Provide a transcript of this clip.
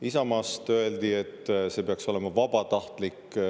Isamaast öeldi, et see peaks olema vabatahtlik.